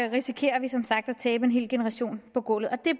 risikerer vi som sagt at tabe en hel generation på gulvet og det